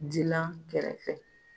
Jilan kɛrɛfɛ.